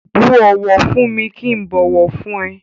Bú ọ̀wọ̀ fún mi kí ń bọ̀wọ̀ fún ẹ.